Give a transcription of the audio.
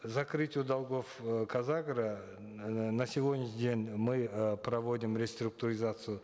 закрытию долгов э казагро э на сегодняшний день мы э проводим реструктуризацию